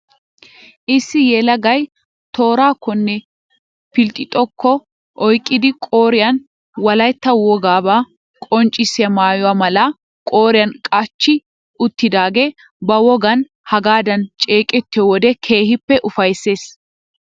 Issi yelagay toorakkonne philxxokko oyqqidi qooriyan wolaytta wogaabaa qonccissiya maayo malaa qooriyan qachchi uttidaagee ba wogan hagaadan ceeqettiyo wode keehippe ufayssees.